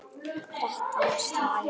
Þrettán slagir.